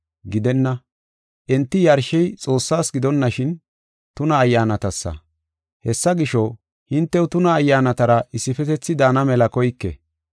Gidenna, enti yarshey Xoossas gidonashin, tuna ayyaanatasa. Hessa gisho, hintew tuna ayyaanatara issifetethi daana mela koyke.